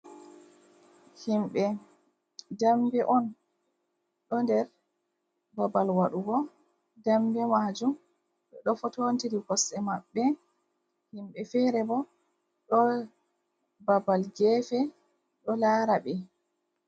Himbe dambe on ɗo nder babal waɗugo dambe majum ɓe ɗo foto tiri koste maɓɓe himɓe fere bo ɗo babal gefe do lara ɓe.